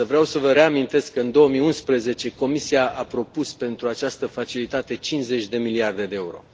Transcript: Însă, vreau să vă reamintesc că în 2011 Comisia a propus pentru această facilitate 50 de miliarde de euro.